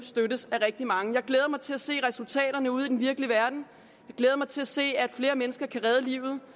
af rigtig mange jeg glæder mig til at se resultaterne ude i den virkelige verden jeg glæder mig til at se at flere mennesker kan redde livet